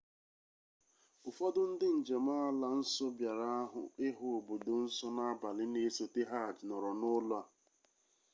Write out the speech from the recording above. ụfọdụ ndị njem ala nsọ bịara ịhụ obodo nsọ n'abalị na-esote hajj nọrọ n'ụlọ a